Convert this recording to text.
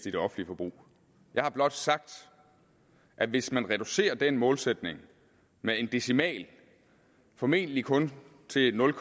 i det offentlige forbrug jeg har blot sagt at hvis man reducerer den målsætning med en decimal formentlig kun til nul